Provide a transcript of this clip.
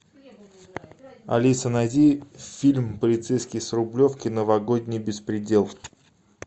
алиса найди фильм полицейский с рублевки новогодний беспредел